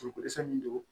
Ko ko dɛsɛ min don